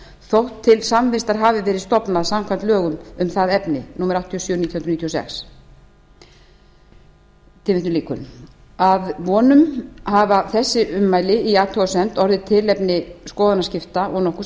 þótt til samvistar hafi verið stofnað samkvæmt lögum um það efni númer áttatíu og sjö nítján hundruð níutíu og sex að vonum hafa þessi ummæli í athugasemd orðið tilefni skoðanaskipta og nokkurs